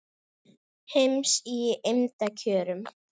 heims í eymda kjörum